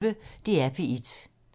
DR P1